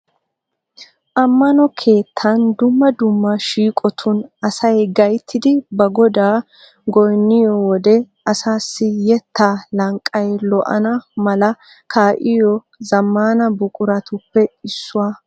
Ammano keettan dumma dumma shiiqotun asay gayttidi ba godaa goynniyo wode asassi yetta lanqqay lo"ana mala kaa'iyo zammana buquratuppe issuwaa.